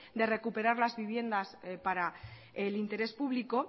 de recuperar las viviendas para el interés público